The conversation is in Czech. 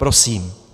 Prosím.